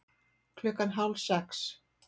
Klukkan hálf sex